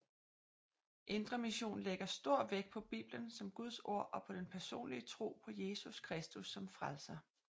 Indre Mission lægger stor vægt på Bibelen som Guds ord og på den personlige tro på Jesus Kristus som Frelser